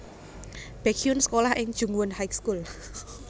Baekhyun sékolah ing Jungwon High School